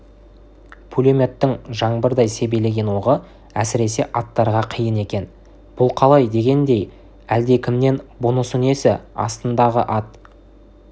пулеметтің жаңбырдай себелеген оғы әсіресе аттарға қиын екен бұл қалай дегендей әлдекімнен бұнысы несі астындағы ат